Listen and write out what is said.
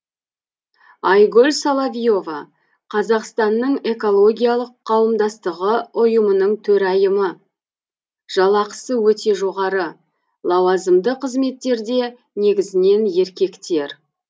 айгүл соловьева қазақстанның экологиялық қауымдастығы ұйымының төрайымы жалақысы өте жоғары лауазымды қызметтерде негізінен еркектер